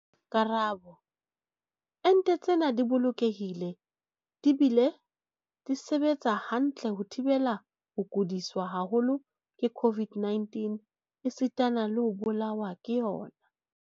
Karabo- Ente tsena di bolokehile di bile di sebetsa hantle ho thibela ho kudiswa haholo ke COVID-19 esitana le ho bolawa ke yona.